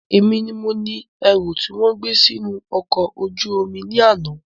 Èmi ni mo ni ẹrú tí wọn gbé sì inú ọkọ ojú omi ni àná